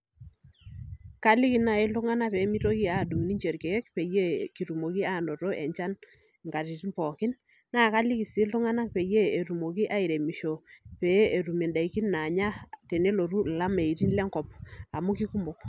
Kaliki nai ltung'anak pemitoki ninche adung irkiek peyie kitumoki ainoto enchan nkatitin pookin nakaliki si ltung'anak petumoki aremisho petum ndakini nanya tenelotu lameitin lenkop amu keikumok.